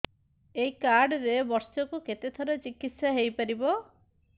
ଏଇ କାର୍ଡ ରେ ବର୍ଷକୁ କେତେ ଥର ଚିକିତ୍ସା ହେଇପାରିବ